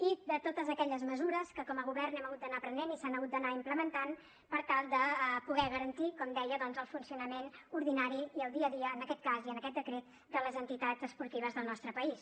i de totes aquelles mesures que com a govern hem hagut d’anar prenent i s’han hagut d’anar implementant per tal de poder garantir com dia el funcionament ordinari i el dia a dia en aquest cas i en aquest decret de les entitats esportives del nostre país